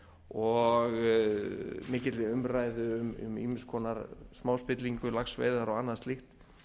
og mikilli umræðu um ýmiss konar smáspillingu laxveiðar og annað slíkt